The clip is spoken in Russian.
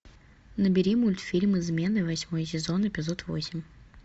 набери мультфильм измены восьмой сезон эпизод восемь